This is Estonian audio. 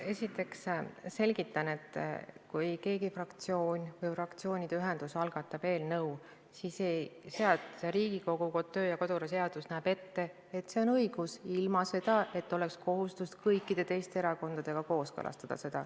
Esiteks selgitan, et kui mõni fraktsioon või fraktsioonide ühendus algatab eelnõu, siis Riigikogu kodu- ja töökorra seadus näeb ette, et neil pole kohustust seda kõikide teiste erakondadega kooskõlastada.